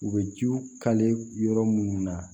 U bɛ jiw yɔrɔ munnu na